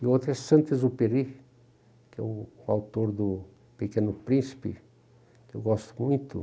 E outra é Santos Uperi, que é o autor do Pequeno Príncipe, que eu gosto muito.